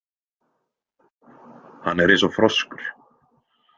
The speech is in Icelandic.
Hann er eins og froskur.